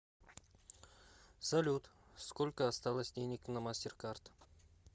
салют сколько осталось денег на мастеркард